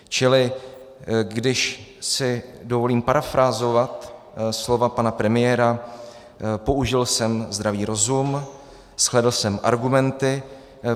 Čili když si dovolím parafrázovat slova pana premiéra, použil jsem zdravý rozum, zhlédl jsem argumenty.